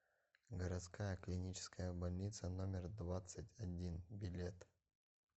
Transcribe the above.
городская клиническая больница номер двадцать один билет